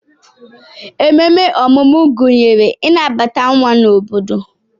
Ememe ọmụmụ gụnyere ịnabata nwa n'obodo